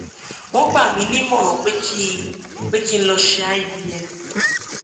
wọn gbà mí nímọràn pé kí pé kí n lọ ṣe ivf